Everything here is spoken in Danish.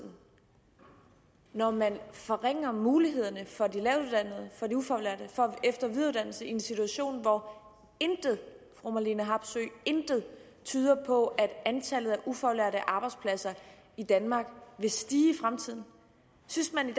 når man forringer mulighederne for de lavtuddannede og ufaglærte for at eftervidereuddanne sig i en situation hvor intet intet tyder på at antallet af ufaglærte arbejdspladser i danmark vil stige fremtiden synes man i